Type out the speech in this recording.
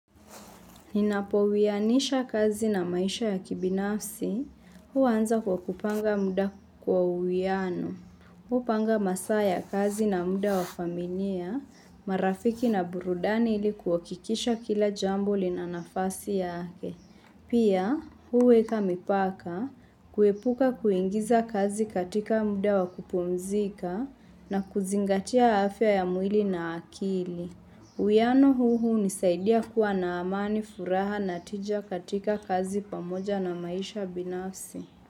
Ninapo uwianisha kazi na maisha ya kibinafsi, huwa anza kwa kupanga muda kwa uwiano. Hupanga masaa ya kazi na muda wa familia, marafiki na burudani ilikuhakikisha kila jambo lina nafasi yake. Pia, huweka mipaka, kuepuka kuingiza kazi katika muda wa kupumzika na kuzingatia afya ya mwili na akili. Uwiano huu hunisaidia kuwa na amani furaha na tija katika kazi pamoja na maisha binafsi.